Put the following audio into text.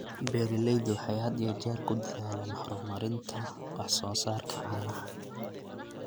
Beeraleydu waxay had iyo jeer ku dadaalaan horumarinta wax soo saarka caanaha.